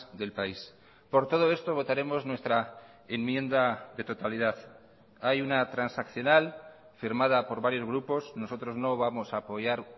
del país por todo esto votaremos nuestra enmienda de totalidad hay una transaccional firmada por varios grupos nosotros no vamos a apoyar